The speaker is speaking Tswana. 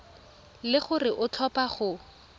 le gore o tlhopha go